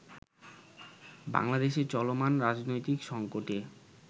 বাংলাদেশে চলমান রাজনৈতিক সঙ্কটে